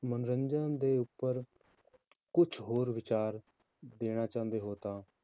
ਮਨੋਰੰਜਨ ਦੇ ਉੱਪਰ ਕੁਛ ਹੋਰ ਵਿਚਾਰ ਦੇਣਾ ਚਾਹੁੰਦੇ ਹੋ ਤਾਂ,